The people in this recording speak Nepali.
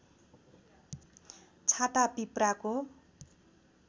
छाता पिप्राको